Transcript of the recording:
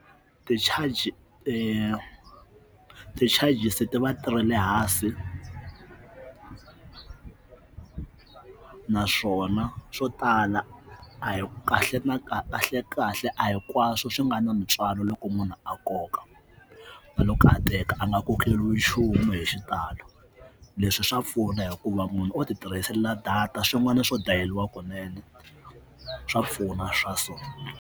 Ti-charge ti-charges ti vatirhela hansi naswona swo tala a hi kahle na kahle kahle a hinkwaswo swi nga na ntswalo loko munhu a nkoka vanhu karhateka a nga kokeriwi nchumu hi xitalo leswi swa pfuna hikuva munhu o ti tirhisela data swin'wana swo dayeriwa kunene swa pfuna swa so.